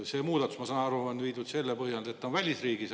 See muudatus on tehtud, ma saan aru, selle põhjal, et ta on välisriigis.